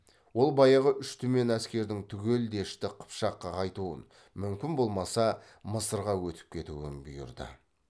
ол баяғы үш түмен әскердің түгел дешті қыпшаққа қайтуын мүмкін болмаса мысырға өтіп кетуін бұйырды